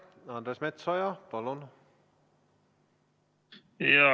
Andres Metsoja, palun!